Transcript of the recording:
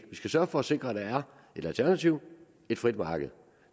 sørge for at sikre at der er et alternativ et frit marked